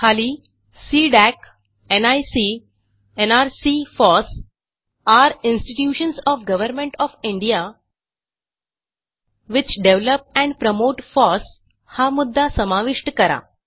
खाली CDAC NIC nrc FOSS are institutions of government of India which develop and promote FOSSहा मुद्दा समाविष्ट करा